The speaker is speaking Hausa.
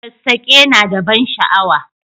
Sassake na da ban sha'awa